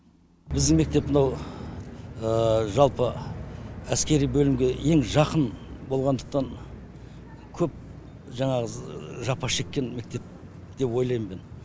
біздің мектеп мынау жалпы әскери бөлімге ең жақын болғандықтан көп жаңағы жапа шеккен мектеп деп ойлаймын мен